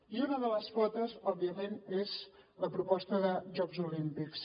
i una de les potes òbviament és la proposta de jocs olímpics